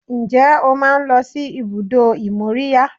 Ǹjẹ́ o máa ń lọ sí ibùdó ìmóríyá?